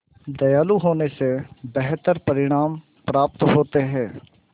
दयालु होने से बेहतर परिणाम प्राप्त होते हैं